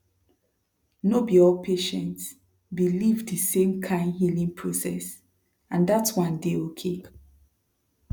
no be all patients believe the same kind healing process and dat one dey okay